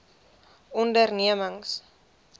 ondernemings